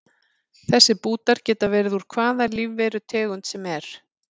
Þessir bútar geta verið úr hvaða lífverutegund sem er.